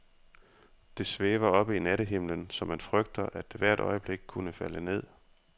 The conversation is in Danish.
Det svæver oppe i nattehimlen, så man frygter, at det hvert øjeblik kunne falde ned.